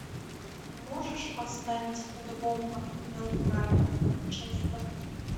можешь поставить футбол апл брайтон манчестер